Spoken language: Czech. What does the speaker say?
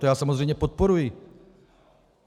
To já samozřejmě podporuji.